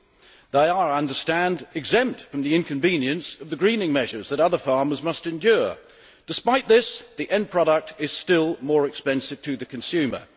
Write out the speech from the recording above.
and they are, I understand, exempt from the inconvenience of the greening measures that other farmers must endure. Despite this, the end product is still more expensive to the consumer.